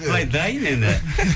былай дайын енді